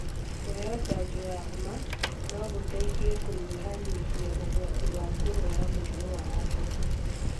Kũheo njanjo ya homa no gũteithie kũnyihanyihia ũgwati wa kũrũara mũrimũ wa asthma.